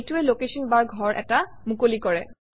এইটোৱে লোকেশ্যন বাৰ ঘৰ এটা মুকলি কৰে